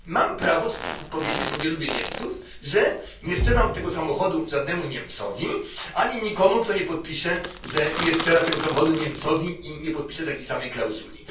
Mam prawo powiedzieć bo nie lubię Niemców że nie sprzedam tego samochodu żadnemu Niemcowi ani nikomu, kto nie podpisze, że nie sprzeda tego samochodu Niemcowi, i nie podpisze takiej samej klauzuli.